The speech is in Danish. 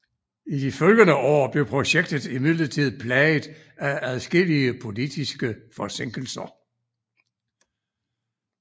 I de efterfølgende år blev projektet imidlertid plaget af adskillige politiske forsinkelser